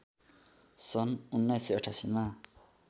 सन १९८८ मा